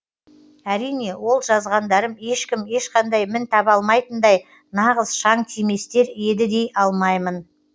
әрине ол жазғандарым ешкім ешқандай мін таба алмайтындай нағыз шаң тиместер еді дей алмаймын